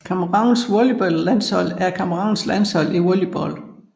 Camerouns volleyballlandshold er Camerouns landshold i volleyball